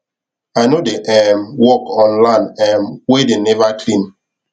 i no dey um work on land um wey them never clean